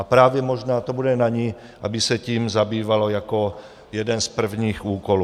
A právě možná to bude na ní, aby se tím zabývala jako jedním z prvních úkolů.